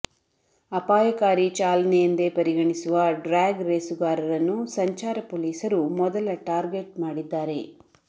ಅಪಾಯಕಾರಿ ಚಾಲನೆ ಎಂದೇ ಪರಿಗಣಿಸುವ ಡ್ರ್ಯಾಗ್ ರೇಸುಗಾರರನ್ನು ಸಂಚಾರ ಪೊಲೀಸರು ಮೊದಲ ಟಾರ್ಗೆಟ್ ಮಾಡಿದ್ದಾರೆ